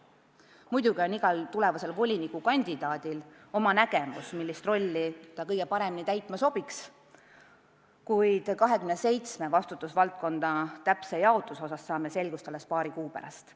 Muidugi on igal volinikukandidaadil oma nägemus, millist rolli ta kõige paremini täitma sobiks, kuid 27 vastutusvaldkonna täpse jaotuse osas saame selgust alles paari kuu pärast.